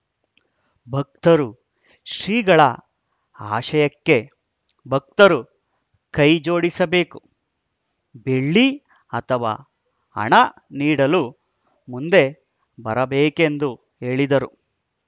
ಭಕ್ತರು ಶ್ರೀಗಳ ಆಶಯಕ್ಕೆ ಭಕ್ತರು ಕೈ ಜೋಡಿಸಬೇಕು ಬೆಳ್ಳಿ ಅಥವಾ ಹಣ ನೀಡಲು ಮುಂದೆ ಬರಬೇಕೆಂದು ಹೇಳಿದರು